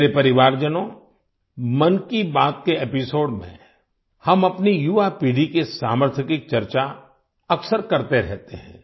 मेरे परिवारजनों मन की बात के एपिसोड में हम अपनी युवा पीढ़ी के सामर्थ्य की चर्चा अक्सर करते रहते हैं